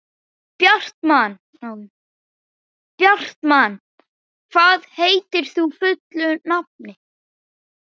Bjartmann, hvað heitir þú fullu nafni?